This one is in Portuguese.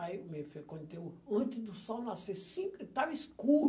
Aí antes do sol nascer, cinco estava escuro.